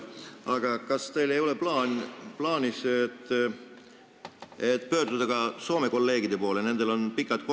Kas teil ei ole aga plaanis pöörduda Soome kolleegide poole?